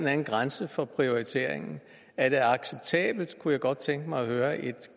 anden grænse for prioriteringen er det acceptabelt kunne jeg godt tænke mig at høre et